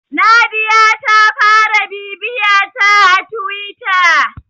Nadiya ta fara bibiyata a Tiwita.